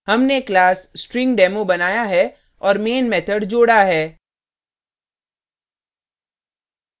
हमने class stringdemo बनाया है और main method जोड़ा है